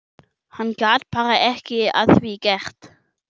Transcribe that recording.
Hann gat bara ekkert að því gert.